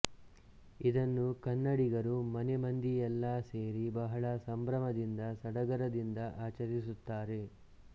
ಇದನ್ನು ಕನ್ನಡಿಗರು ಮನೆ ಮಂದಿಯೆಲ್ಲಾ ಸೇರಿ ಬಹಳ ಸಂಭ್ರಮದಿಂದ ಸಡಗರದಿಂದ ಆಚರಿಸುತ್ತಾರೆ